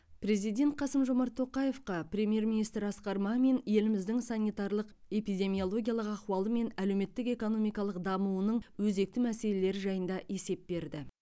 президент қасым жомарт тоқаевқа премьер министр асқар мамин еліміздің санитарлық эпидемиологиялық ахуалы мен әлеуметтік экономикалық дамуының өзекті мәселелері жайында есеп берді